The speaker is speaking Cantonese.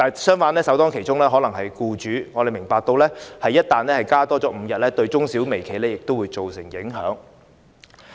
相反，首當其衝的必然是僱主，我們明白一旦增加5天假期，對中小微企會造成影響。